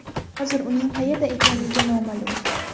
Hozir uning qayerda ekanligi noma’lum.